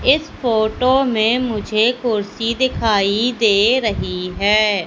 इस फोटो में मुझे कुर्सी दिखाई दे रही है।